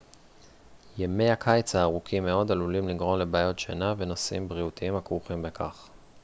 ימי הקיץ הארוכים מאד עלולים לגרום לבעיות שינה ונושאים בריאותיים הכרוכים בכך